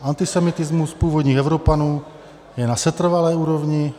Antisemitismus původních Evropanů je na setrvalé úrovni.